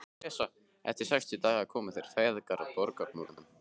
Eftir sextán daga komu þeir feðgar að borgarmúrum